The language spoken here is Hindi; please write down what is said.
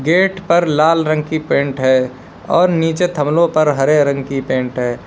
गेट पर लाल रंग की पेंट है और नीचे थमलाे पर हरे रंग की पेंट है।